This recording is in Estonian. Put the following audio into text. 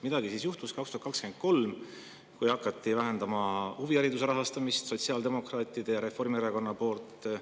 Midagi juhtus aastal 2023, kui sotsiaaldemokraadid ja Reformierakond hakkasid vähendama huvihariduse rahastamist.